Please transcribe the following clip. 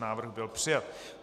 Návrh byl přijat.